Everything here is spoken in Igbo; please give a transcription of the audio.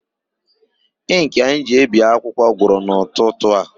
Ịnkị anyị ji ebi akwụkwọ gwụrụ n'ụtụtụ a.